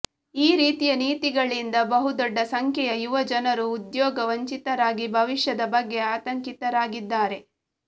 ಈ ರೀತಿಯ ನೀತಿಗಳಿಂದ ಬಹುದೊಡ್ಡ ಸಂಖ್ಯೆಯ ಯುವಜನರು ಉದ್ಯೋಗ ವಂಚಿತರಾಗಿ ಭವಿಷ್ಯದ ಬಗ್ಗೆ ಆತಂಕಿತರಾಗಿದ್ದಾರೆ